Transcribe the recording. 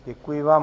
Děkuji vám.